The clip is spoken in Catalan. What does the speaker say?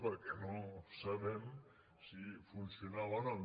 perquè no sa·bem si funcionava o no